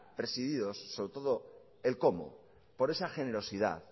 presididos sobre todo el cómo por esa generosidad